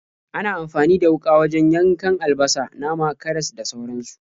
Ana amfani da wuƙa wajen yankan albasa, nama, karas, da sauransu.